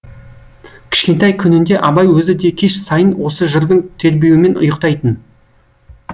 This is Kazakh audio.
кішкентай күнінде абай өзі де кеш сайын осы жырдың тербеуімен ұйықтайтын